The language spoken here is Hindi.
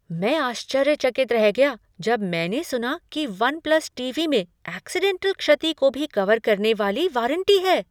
मैं आश्चर्यचकित रह गया जब मैंने सुना कि वन प्लस टीवी में ऐक्सिडेंटल क्षति को भी कवर करने वाली वारंटी है।